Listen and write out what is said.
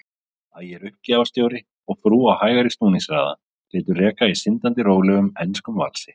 Ægir uppgjafaskipstjóri og frú á hægari snúningshraða, létu reka í syndandi rólegum, enskum valsi.